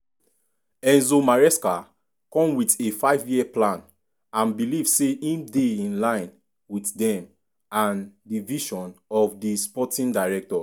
enzo maresca come wit a five-year plan and believe say im dey in-line wit dem and di vision of di sporting directors.